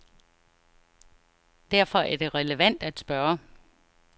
Derfor er det relevant at spørge.